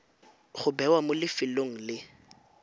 go bewa mo lefelong le